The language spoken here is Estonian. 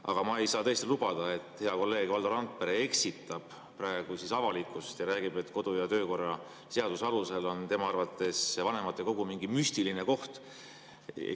Aga ma ei saa tõesti lubada, et hea kolleeg Valdo Randpere eksitab praegu avalikkust ja räägib, et kodu‑ ja töökorra seaduse alusel on tema arvates vanematekogu mingi müstiline koht.